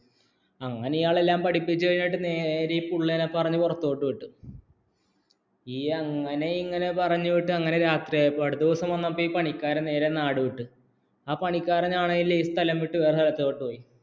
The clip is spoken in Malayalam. അങ്ങനെ ഇയാള്‍ എല്ലാം പഠിപ്പിച്ചു കഴിഞ്ഞിട്ട് നേരെ പിള്ളാരെ പറഞ്ഞു പുറത്തുവിട്ടു അങ്ങനെ ഇങ്ങനെ പറഞ്ഞിട്ട് രാത്രിയായപ്പോൾ അടുത്ത ദിവസം വന്നപ്പോൾ ഈ പണിക്കാരൻ നേരെ നാടുവിട്ടു. ആ പണിക്കാരൻ ആണെങ്കിൽ ഈ സ്ഥലം വിട്ട് വേറെ ഇടതോട്ടുപോയി